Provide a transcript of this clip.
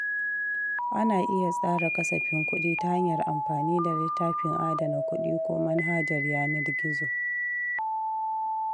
Ana iya tsara kasafin kuɗi ta hanyar amfani da littafin adana kuɗi ko manhajar yanar gizo.